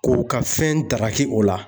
K'u ka fɛn ndaraki o la.